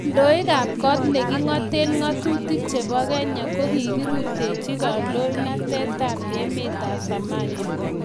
Kandoikab kot ne king'oten ng'atutik chebo Kenya kokirutechi kondoindetab emet Farmajo